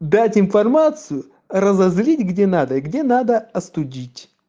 дать информацию разозлить где надо и где надо остудить